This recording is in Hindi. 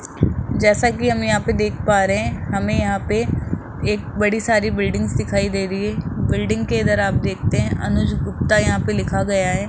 जैसा कि हम यहां पे देख पा रहे हैं हमें यहां पे एक बड़ी सारी बिल्डिंग दिखाई दे रही है बिल्डिंग के इधर आप देखते हैं अनुज गुप्ता यहां पे लिखा गया है।